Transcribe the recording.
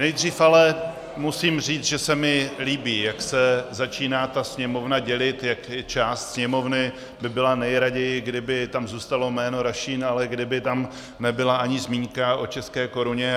Nejdřív ale musím říct, že se mi líbí, jak se začíná ta Sněmovna dělit, jak část Sněmovny by byla nejraději, kdyby tam zůstalo jméno Rašín, ale kdyby tam nebyla ani zmínka o české koruně.